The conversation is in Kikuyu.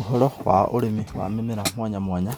Ũhoro wa ũrĩmi wa mĩmera mwanya mwanya,